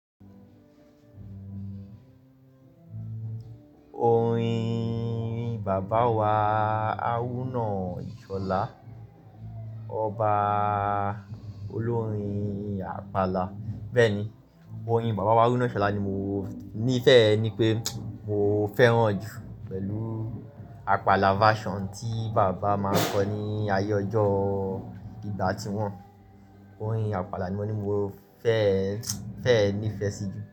Orin Baba Wá Arunà Ìṣọ̀là, Ọba Olórin Apala. Bẹ́ẹ̀ni, orin Baba Wá Arunà Ìṣọ̀là ni mo ní fẹ́ ẹ ní pé mo fẹ́ran ju pẹ̀lú apala version tí bàbá máa nkọ ní ayé ọjọ́ ìgbà tí wọ́n. Orin apala ni mo ni mo fẹ́, fẹ́ ẹ nífẹ̀ẹ́ sí jù.